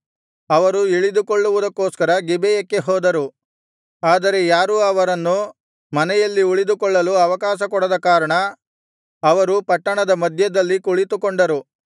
ಅವರು ಇಳಿದುಕೊಳ್ಳುವುದಕ್ಕೋಸ್ಕರ ಗಿಬೆಯಕ್ಕೆ ಹೋದರು ಆದರೆ ಯಾರೂ ಅವರನ್ನು ಮನೆಯಲ್ಲಿ ಉಳಿದುಕೊಳ್ಳಲು ಅವಕಾಶಕೊಡದ ಕಾರಣ ಅವರು ಪಟ್ಟಣದ ಮಧ್ಯದಲ್ಲಿ ಕುಳಿತುಕೊಂಡರು